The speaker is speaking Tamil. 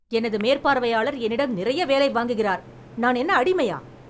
எனது மேற்பார்வையாளர் என்னிடம் நிறைய வேலை வாங்குகிறார், நான் என்ன அடிமையா?